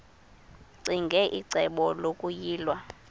ccinge icebo lokuyilwa